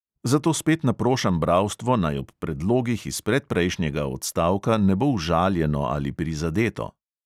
Zato spet naprošam bralstvo, naj ob predlogih iz predprejšnjega odstavka ne bo užaljeno ali prizadeto.